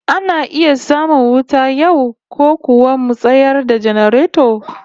Ana iya samun wuta yau, ko kuwa mu tayar da janareto?